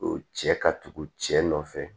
O cɛ ka tugu cɛ nɔfɛ